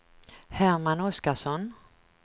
Herman Oskarsson